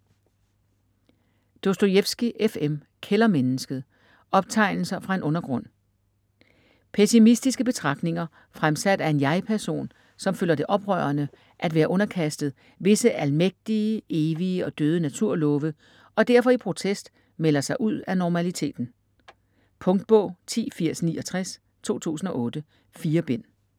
Dostojevskij, F. M.: Kældermennesket: optegnelser fra en undergrund Pessimistiske betragtninger, fremsat af en jeg-person, som føler det oprørende at være underkastet "visse almægtige, evige og døde naturlove", og derfor i protest melder sig ud af normaliteten. Punktbog 108069 2008. 4 bind.